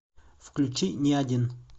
включи не один